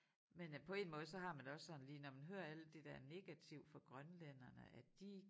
Men øh på én måde så har man det også sådan lige når man hører alt det der negative fra grønlænderne at de